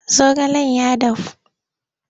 zaogalen ya dahu.